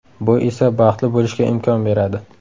Bu esa baxtli bo‘lishga imkon beradi.